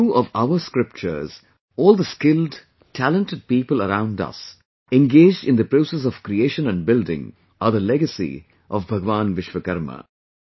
In the view of our scriptures, all the skilled, talented people around us engaged in the process of creation and building are the legacy of Bhagwan Vishwakarma